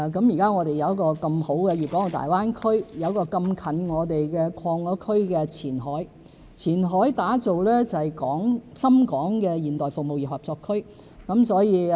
現在我們有這麼好的粵港澳大灣區，有這麼近的已擴區的前海，前海打造的是深港現代服務業合作區。